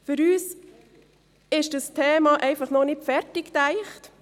Für uns ist dieses Thema einfach noch nicht zu Ende gedacht.